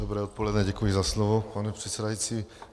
Dobré odpoledne, děkuji za slovo, pane předsedající.